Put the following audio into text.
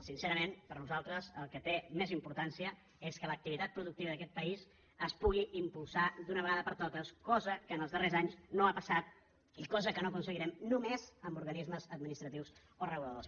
sincerament per nosaltres el que té més importància és que l’activitat productiva d’aquest país es pugui impulsar d’una vegada per totes cosa que els darrers anys no ha passat i cosa que no aconseguirem només amb organismes administratius o reguladors